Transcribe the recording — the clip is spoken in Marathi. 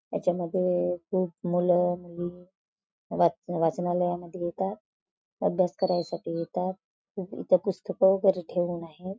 त्याच्या मध्ये खूप मूल मुली वाच वाचणालयामध्ये येतात अभ्यास करायसाठी येतात इथ पुस्तक वैगेरे ठेवून आहेत.